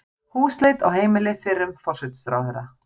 Húsleit á heimili fyrrum forsætisráðherra